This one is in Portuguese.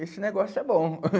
Esse negócio é bom.